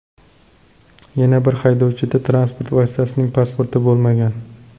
Yana bir haydovchida transport vositasining pasporti bo‘lmagan.